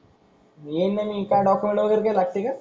येईन ना मी काय डॉक्युमेंट वैगरे काय लागते का?